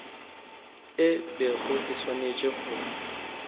e bego e swanetše go